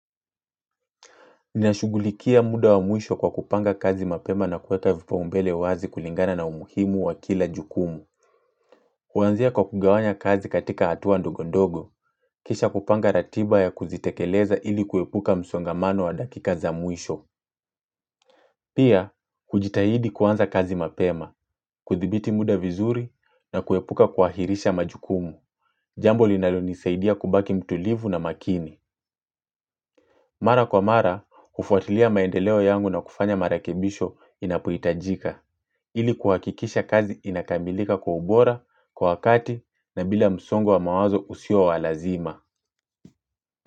Ninashughulikia muda wa mwisho kwa kupanga kazi mapema na kuleta vipaumbele wazi kulingana na umuhimu wa kila jukumu. Kuanzia kwa kugawanya kazi katika hatu ndogo ndogo, kisha kupanga ratiba ya kuzitekeleza ili kuepuka msongamano wa dakika za mwisho. Pia, kujitahidi kuanza kazi mapema, kudhibiti muda vizuri na kuepuka kuahirisha majukumu. Jambo linalonisaidia kubaki mtulivu na makini. Mara kwa mara, hufuatilia maendeleo yangu na kufanya marekebisho inapohitajika, ili kuhakikisha kazi inakamilika kwa ubora, kwa wakati, na bila msongo wa mawazo usio wa lazima.